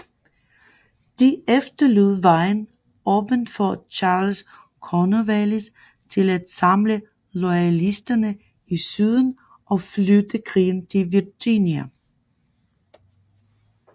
Det efterlod vejen åben for Charles Cornwallis til at samle loyalisterne i Syden og flytte krigen til Virginia